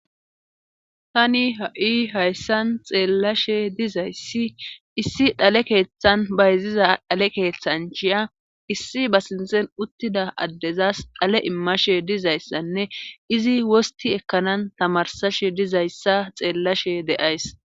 tani ha7i hayssan xeellashe dizayssi issi dhale keeththan bayziza dhale keeththanchiya issi ba sinxen uttida addezas dhale immashe dizayssanne izi wosti ekkanan tamarsashe dizayssa xeellashe de7ays